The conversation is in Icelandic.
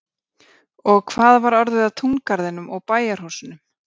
Og hvað var orðið af túngarðinum og bæjarhúsunum?